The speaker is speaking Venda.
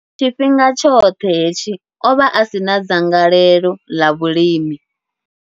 Tshifhinga tshoṱhe hetshi, o vha a si na dzangalelo ḽa vhulimi.